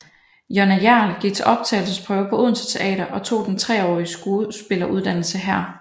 Jonna Hjerl gik til optagelsesprøve på Odense Teater og tog den treårige skuespilleruddannelse her